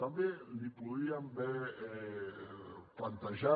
també li podríem haver plantejat